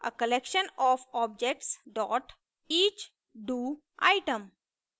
a collection of objectseach do item